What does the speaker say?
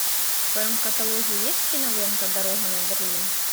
в твоем каталоге есть кинолента дорога на берлин